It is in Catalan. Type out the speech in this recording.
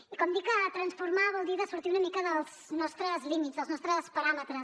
i com dic transformar vol dir sortir una mica dels nostres límits dels nostres paràmetres